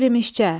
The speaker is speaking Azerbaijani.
Kirmişcə.